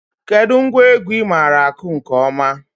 Kedụ ngwa egwu ị maara akụ nke ọma?